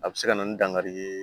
A bɛ se ka na ni dankari ye